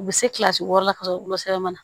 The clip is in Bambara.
U bɛ se kilasi wɔɔrɔ la ka sɔrɔ wolosɛbɛn na